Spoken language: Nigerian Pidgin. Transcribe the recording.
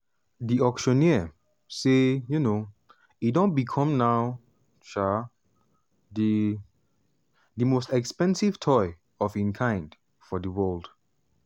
di auctioneer say um e don become now um di di most expensive toy of im kind for di world.